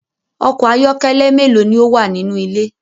Ọkọ̀ ayọ́kẹ́lẹ́ méèló ni ó wà nínú ilé?